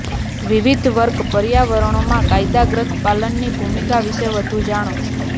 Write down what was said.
વિવિધ વર્ક પર્યાવરણોમાં કાયદા ગ્રંથપાલની ભૂમિકા વિશે વધુ જાણો